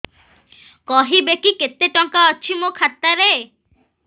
କହିବେକି କେତେ ଟଙ୍କା ଅଛି ମୋ ଖାତା ରେ